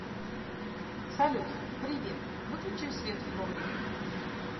салют привет выключи свет в погребе